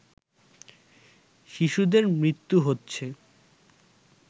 শিশুদের মৃত্যু হচ্ছে